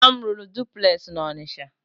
Nna m rụrụ dupules na Ọnịcha.